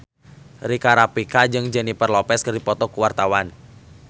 Rika Rafika jeung Jennifer Lopez keur dipoto ku wartawan